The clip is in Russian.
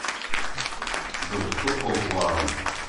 джой какой пол у аарон